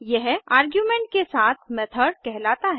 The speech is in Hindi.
यह आर्गुमेंट के साथ मेथड कहलाता है